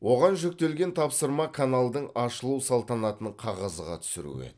оған жүктелген тапсырма каналдың ашылу салтанатын қағазға түсіру еді